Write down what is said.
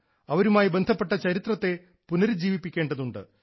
അവരുമായി ബന്ധപ്പെട്ട ചരിത്രത്തെ പുനരുജ്ജീവിപ്പിക്കേണ്ടതുണ്ട്